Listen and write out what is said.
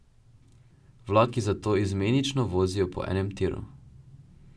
Vlaki zato izmenično vozijo po enem tiru.